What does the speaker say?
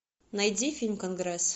найди фильм конгресс